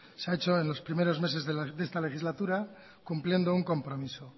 se ha hecho en los primeros meses de esta legislatura cumpliendo un compromiso